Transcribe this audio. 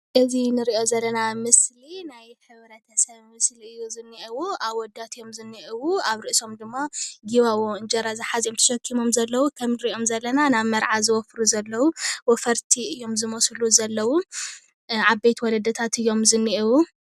እዚ ንሪኦ ዘለና ምስሊ ናይ ሕብረተሰብ ምስሊ እዩ ዝኔኤዎ ኣወዳት እዮም ዝኔኤው፡፡ ኣብ ርእሶም ድማ ጊባቦ እንጀራ ዝሓዘ እዮም ተሸኪሞም ዘለው ከም እንሪኦም ዘለና ናብ መርዓ ወፈርቲ እዮም ዝመስሉ ዘለው፣ ዓበይቲ ወለድታት እዮም ዝኔኤው፡፡